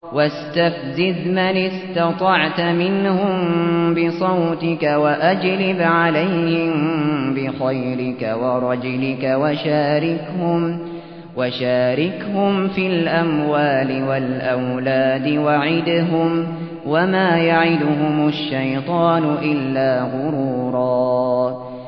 وَاسْتَفْزِزْ مَنِ اسْتَطَعْتَ مِنْهُم بِصَوْتِكَ وَأَجْلِبْ عَلَيْهِم بِخَيْلِكَ وَرَجِلِكَ وَشَارِكْهُمْ فِي الْأَمْوَالِ وَالْأَوْلَادِ وَعِدْهُمْ ۚ وَمَا يَعِدُهُمُ الشَّيْطَانُ إِلَّا غُرُورًا